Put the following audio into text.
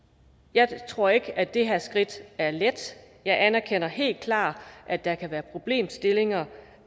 jeg tror ikke at det her skridt er let jeg anerkender helt klart at der kan være problemstillinger